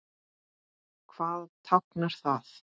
Hvað táknar það?